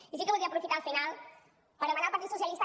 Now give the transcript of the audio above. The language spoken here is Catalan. i sí que voldria aprofitar el final per demanar al partit socialistes